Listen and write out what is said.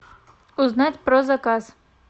узнать про заказ